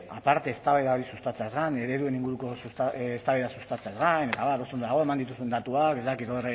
aparte eztabaida hori sustatzeaz gain inguruko eztabaida sustatzeaz gain eta abar oso ondo dago eman dituzun datuak ez dakit